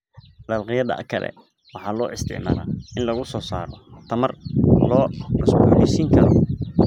Dalagyada kale waxaa loo isticmaalaa in lagu soo saaro tamar la cusboonaysiin karo.